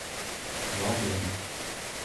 Vabljeni!